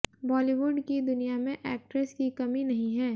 बॉलीवुड की दुनिया में एक्ट्रेस की कमी नही है